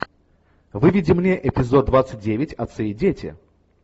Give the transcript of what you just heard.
выведи мне эпизод двадцать девять отцы и дети